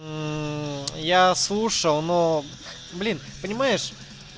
я слушал но блин понимаешь